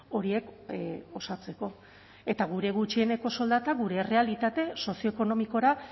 horiek osatzeko eta gure gutxieneko soldata gure errealitate sozioekonomikora